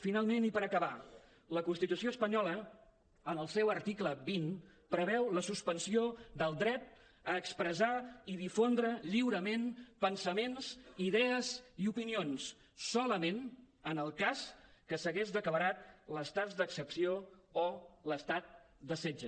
finalment i per acabar la constitució espanyola en el seu article vint preveu la suspensió del dret a expressar i difondre lliurement pensaments idees i opinions solament en el cas que s’hagués declarat l’estat d’excepció o l’estat de setge